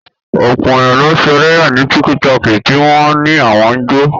Ọ̀pọ̀ èèyàn ló ń ṣe ẹlẹ́yà ní tíkítọọ̀kì tí wọ́n á ní àwọn ń jó